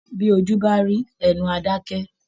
Bí ojú bá rí, ẹnu a dakẹ.